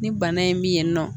Ni bana in mi yenni nɔ